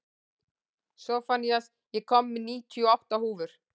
Sophanías, ég kom með níutíu og átta húfur!